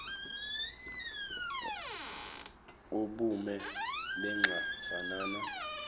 ubume benxa fanana